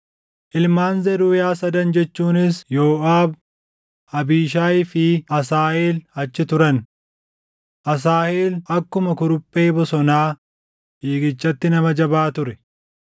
Ilmaan Zeruuyaa sadan jechuunis Yooʼaab, Abiishaayii fi Asaaheel achi turan. Asaaheel akkuma kuruphee bosonaa fiigichatti nama jabaa ture.